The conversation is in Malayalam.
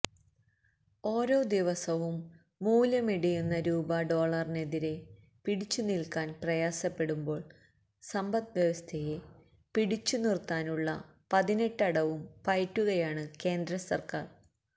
ഓരോദിവസവും മൂല്യമിടിയുന്ന രൂപ ഡോളറിനെതിരേ പിടിച്ചുനിൽക്കാൻ പ്രയാസപ്പെടുമ്പോൾ സമ്പദ്വ്യവസ്ഥയെ പിടിച്ചുനിർത്താനുള്ള പതിനെട്ടടവും പയറ്റുകയാണ് കേന്ദ്രസർക്കാർ